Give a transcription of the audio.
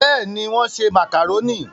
bẹ́ẹ̀ni, wọ́n ṣe màkàrónì